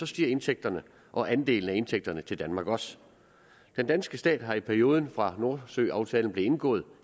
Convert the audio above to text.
stiger indtægterne og andelen af indtægterne til danmark også den danske stat har i perioden fra nordsøaftalen blev indgået